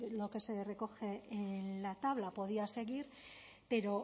lo que se recoge en la tabla podría seguir pero